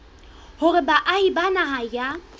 hore baahi ba naha ya